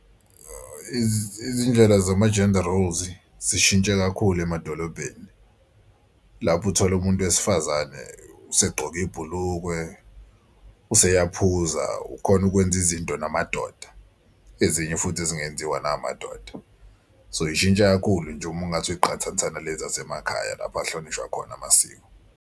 Izindlela zama-gender roles zishintshe kakhulu emadolobheni lapho uthole umuntu wesifazane usegqoke ibhulukwe useyaphuza ukhona ukwenza izinto namadoda ezinye futhi ezingenziwa namadoda. So ishintshe kakhulu nje uma ungathi uyiqhathanisa nale zasemakhaya lapho kuhlonishwa khona amasiko.